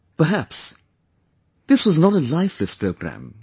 Perhaps, this was not a lifeless programme